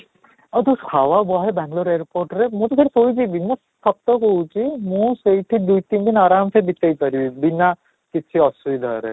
ଆଉ ଯଉ ବହେ ବାଙ୍ଗାଲୁର airport ରେ ମୁଁ ତ ସେଠି ଶୋଇ ଯିବି, ସତ କହୁଛି ମୁଁ ସେଇଠି ଦୁଇ ଦିନି ଦିନ ଆରାମ ସେ ବିତେଇ ପାରିବି ବିନା କିଛି ଅସୁବିଧାରେ